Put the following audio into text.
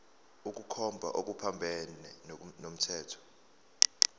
ukukhomba okuphambene nomthetho